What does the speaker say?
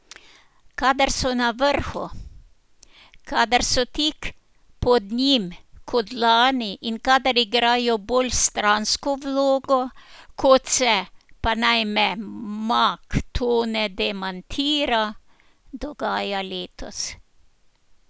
Kadar so na vrhu, kadar so tik pod njim, kot lani, in kadar igrajo bolj stransko vlogo, kot se, pa naj me mag Tone demantira, dogaja letos.